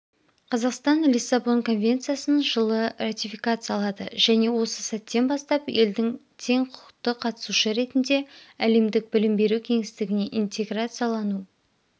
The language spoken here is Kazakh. қазақстан лиссабон конвенциясын жылы ратификациялады және осы сәттен бастап елдің тең құқықты қатысушы ретінде әлемдік білім беру кеңістігіне интеграциялану